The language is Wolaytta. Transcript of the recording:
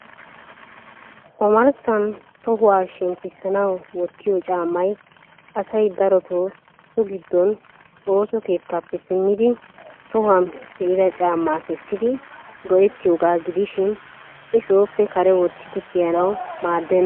Ommarssan tohuwaa shemppisanaw wottiyo caammay asay darotoo so giddon ooso keettappe simmidi tohuwan pe'idda caamma kessidi go''ettiyoogaa gidishin I sooppe kare wottidi kiyyanaw maaddena.